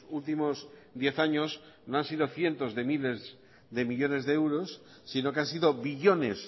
últimos diez años no han sido cientos de miles de millónes de euros sino que han sido billones